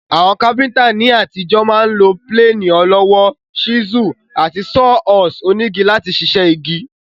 Àwon carpenter ní àtijọ́ ma n lo plane ọlọ́wọ́, chisel, àti saw horse onígi láti sisẹ́ igi